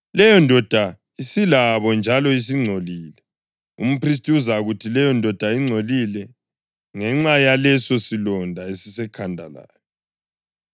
leyondoda isilabo njalo isingcolile. Umphristi uzakuthi leyondoda ingcolile ngenxa yaleso silonda esisekhanda layo.